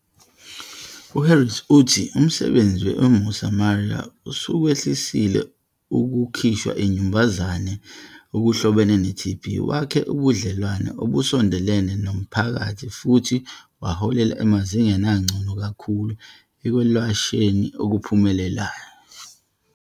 U-Harrison uthi umsebenzi we-Mosamaria usukwehlisile ukukhishwa inyumbazane okuhlobene ne-TB, wakhe ubudlelwane obusondelene nomphakathi futhi waholela emazingeni angcono kakhulu ekwelashweni okuphumelelayo.